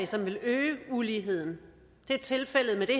som vil øge uligheden det er tilfældet med det